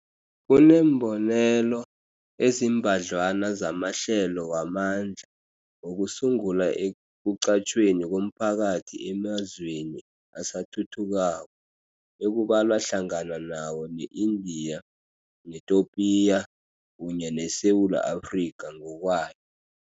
Kuneembonelo ezimbadlwana zamahlelo wamandla wokusungula ekuqatjhweni komphakathi emazweni asathuthukako, ekubalwa hlangana nawo ne-Indiya, neTopiya kunye neSewula Afrika ngokwayo.